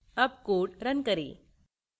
अब code run करें